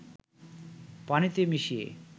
পানিতে মিশিয়ে